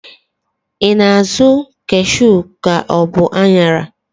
I na-azụ kashu ka ọ bu aṅara?